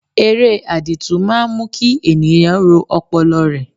Ere àdììtú máa ń mú kí ènìyàn ro ọpọlọ rẹ̀.